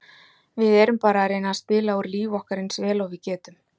Við erum bara að reyna að spila úr lífi okkar eins vel og við getum.